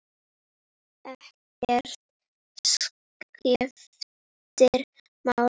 Ekkert skiptir máli.